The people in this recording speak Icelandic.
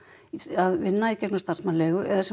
að vinna í gegnum starfsmannaleigu eða sem